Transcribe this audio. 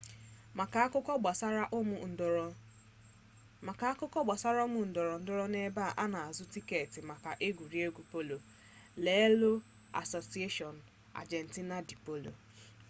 maka akụkọ gbasara ụmụ ndorondoro na ebe a na-azụ tiketi maka egwuregwu polo lelee asociacion argentina de polo